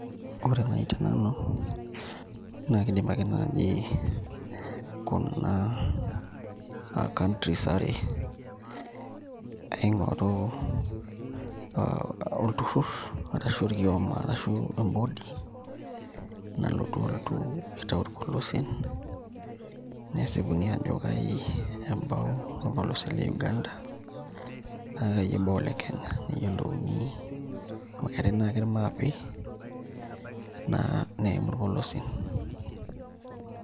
Ore naai te nanu naa kiidim ake naai kuna aa countries are aing'oru olturrur ashu orkioma ashu embodi nalotu aitau irpolosien nesipuni aajo kaai ebau orpolosie le Uganda naa kaai ebau ole Kenya neyiolouni amu keetai naa ake irmapi eneim irpolosien.